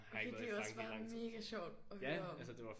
Okay det også bare mega sjovt at høre om